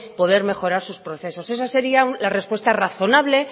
poder mejorar sus procesos eso sería la respuesta razonable